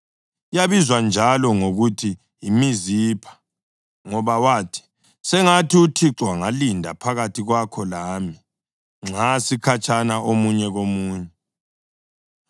Yabizwa njalo ngokuthi yiMizipha, ngoba wathi, “Sengathi uThixo angalinda phakathi kwakho lami nxa sikhatshana omunye komunye.